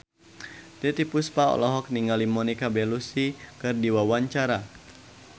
Titiek Puspa olohok ningali Monica Belluci keur diwawancara